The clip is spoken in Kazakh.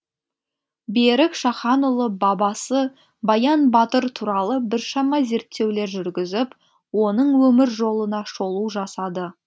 берік шаханұлы бабасы баян батыр туралы біршама зерттеулер жүргізіп оның өмір жолына шолу жасады